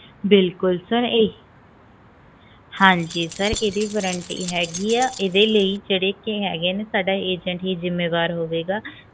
ਹਾਂਜੀ ਹਿੰਦੀ ਹੈਗੀ ਹੈ ਇਹਦੇ ਲਾਇ ਜਿਹੜੇ ਕਿ ਹੈਗੇ ਨੇ ਸਾਡੇ agent ਹੀ ਜਿੰਮੇਵਾਰ ਹੋਵੇਗਾ